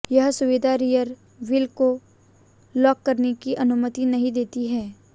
यह सुविधा rear wheel को लॉक करने की अनुमति नहीं देती है